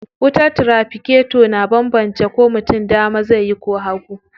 Wutar tiraficator na banbance ko mutum dama zai yi ko hagu.